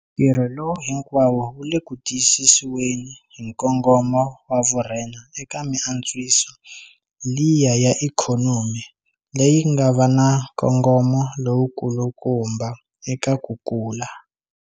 Ntirho lowu hinkwawo wu le ku tiyisisiweni hi nkongomo wa vurhena eka miantswiso liya ya ikhonomi leyi nga va na nkongomo lowukulukumba eka ku kula.